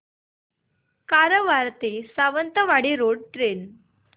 कारवार ते Sawantwadi road train